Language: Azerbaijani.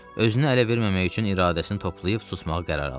Özünü ələ verməmək üçün iradəsini toplayıb susmağı qərar aldı.